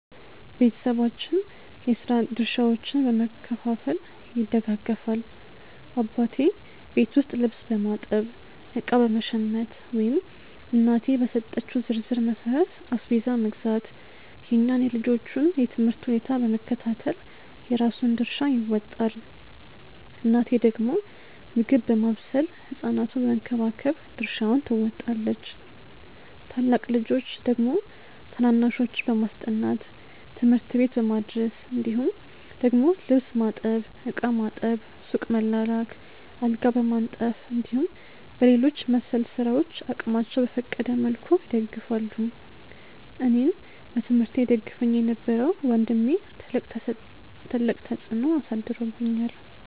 ቤተሰባችን የስራ ድርሻዎችን በመከፋፈል ይደጋገፋል። አባቴ ቤት ውስጥ ልብስ በማጠብ፣ እቃ በመሸመት ወይም እናቴ በሰጠችው ዝርዝር መሠረት አስቤዛ መግዛት፣ የእኛን የልጆቹን የ ትምህርት ሁኔታ በመከታተል የራሱን ድርሻ ይወጣል። እናቴ ደግሞ ምግብ ማብሰል ህ ሕፃናቱን በመንከባከብ ድርሻዋን ትወጣለች። ታላቅ ልጆች ደግሞ ታናናሾችን በማስጠናት፣ ትምህርት ቤት በማድረስ እንዲሁም ደግሞ ልብስ ማጠብ፣ ዕቃ ማጠብ፣ ሱቅ መላላክ፣ አልጋ በማንጠፍ እንዲሁም በሌሎች መሰል ስራዎች አቅማቸው በፈቀደ መልኩ ይደግፋሉ። አኔን በትምህርቴ ይደግፈኝ የነበረው ወንድሜ ትልቅ ተፅዕኖ አሳድሮብኛል።